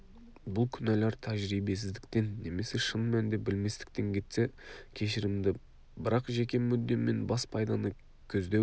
бұл күнәлар тәжірибесіздіктен немесе шын мәнінде білместіктен кетсе кешірімді бірақ жеке мүдде мен бас пайданы көздеу